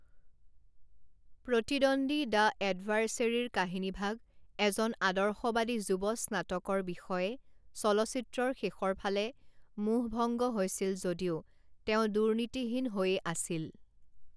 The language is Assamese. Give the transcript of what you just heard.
প্ৰতিদ্বন্দী দ্য এডভাৰ্চেৰীৰ কাহিনীভাগ এজন আদৰ্শবাদী যুৱ স্নাতকৰ বিষয়ে চলচ্চিত্ৰৰ শেষৰ ফালে মোহভঙ্গ হৈছিল যদিও তেওঁ দুৰ্নীতিহীন হৈয়ে আছিল।